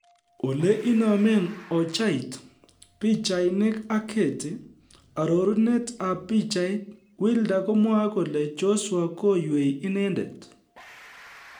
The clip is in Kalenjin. Ole inomen oichait, Pichainik ak Getty, ororunet ab pichait, Wilder komwoe kole Joshua koywei inendet.